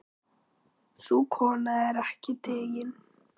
Sú kona er ekki tigin.